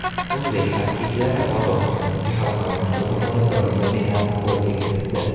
O‘zbek xokkeychilari Qozog‘istondagi xalqaro musobaqada bronza medalni qo‘lga kiritdi.